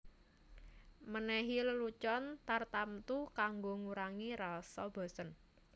Menehi lelucon tartamtu kanggo ngurangi rasa bosen